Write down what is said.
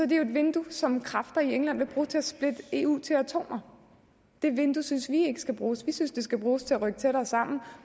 det jo et vindue som kræfter i england vil bruge til at splitte eu til atomer det vindue synes vi ikke skal bruges vi synes det skal bruges til at rykke tættere sammen